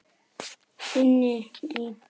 Inni í eldhúsi var